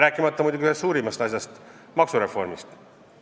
Rääkimata muidugi ühest suurimast asjast, maksureformist.